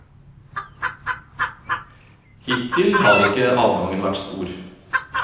Hittil har ikke avgangen vært stor.